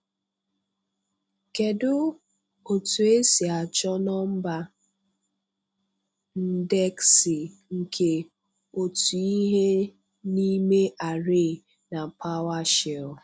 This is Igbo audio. Kedu otu esi achọ nọmba ndeksi nke otu ihe n'ime array na PowerShell?